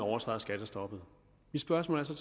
overtræder skattestoppet mit spørgsmål er så